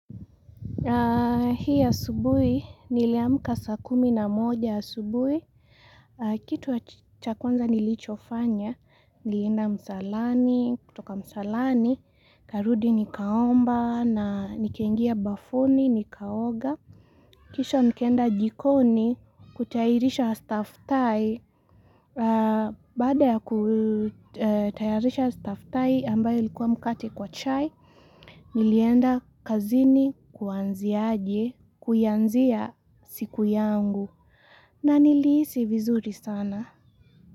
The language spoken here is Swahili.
Hii asubuhi, niliamka saa kumi na moja asubuhi, kitu cha kwanza nilichofanya, nilienda msalani, kutoka msalani, karudi nikaomba, na nikaingia bafuni, nikaoga. Kisha nikaenda jikoni kutairisha staftahi. Baada ya kutayarisha staftahi ambayo ilikuwa mkate kwa chai, nilienda kazini kuanzia aje, kuyanzia siku yangu. Na nilihisi vizuri sana.